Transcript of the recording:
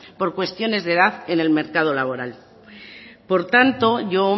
por cuestiones de edad en el mercado laboral por tanto yo